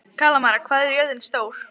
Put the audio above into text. Kalmara, hvað er jörðin stór?